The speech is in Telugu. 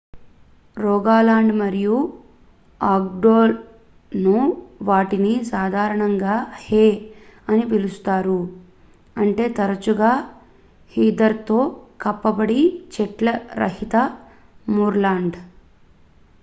"రోగాలాండ్ మరియు ఆగ్డెర్​లో వాటిని సాధారణంగా "హే" అని పిలుస్తారు అంటే తరచుగా హీథర్​తో కప్పబడి చెట్ల రహిత మూర్లాండ్.